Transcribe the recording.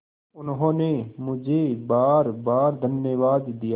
उन्होंने मुझे बारबार धन्यवाद दिया